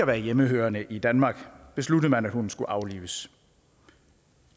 være hjemmehørende i danmark besluttede man at hunden skulle aflives